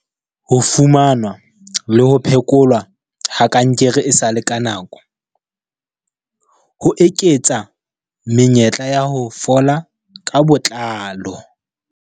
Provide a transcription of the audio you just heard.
Ho fumanwa le ho phe kolwa ha kankere esale ka nako, ho eketsa menyetla ya ho fola ka botlalo.